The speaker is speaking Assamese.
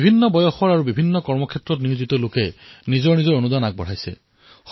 সকলো বয়সৰ লোকে আৰু সকলো কৰ্মৰ সৈতে জড়িত লোকে নিজৰ যোগদান আগবঢ়াইছে